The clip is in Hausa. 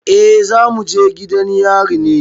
Eh za mu je gidan yari ne.